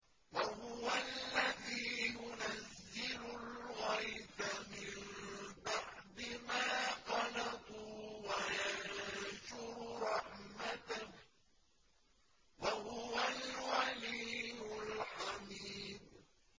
وَهُوَ الَّذِي يُنَزِّلُ الْغَيْثَ مِن بَعْدِ مَا قَنَطُوا وَيَنشُرُ رَحْمَتَهُ ۚ وَهُوَ الْوَلِيُّ الْحَمِيدُ